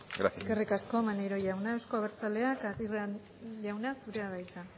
gracias eskerrik asko maneiro jauna euzko abertzaleak aguirre jauna zurea da hitza